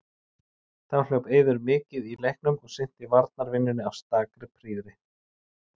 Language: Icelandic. Þá hljóp Eiður mikið í leiknum og sinnti varnarvinnunni af stakri prýði.